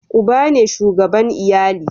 uba ne shugaban iyali